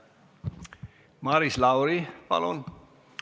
Maris Lauri, palun!